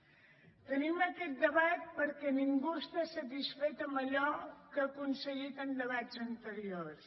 tenim aquest debat perquè ningú està satisfet amb allò que ha aconseguit en debats anteriors